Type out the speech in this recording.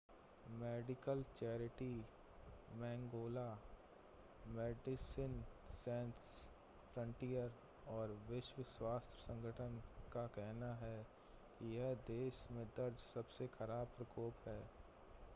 medical charity मैंगोला Médecins Sans Frontières और विश्व स्वास्थ्य संगठन का कहना है कि यह देश में दर्ज सबसे ख़राब प्रकोप है